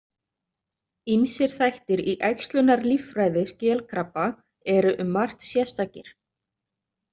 Ýmsir þættir í æxlunarlíffræði skelkrabba eru um margt sérstakir.